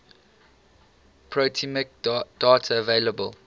proteomic data available